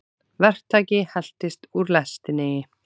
Verktaki heltist úr lestinni